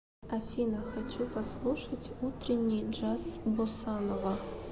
афина хочу послушать утренний джаз босанова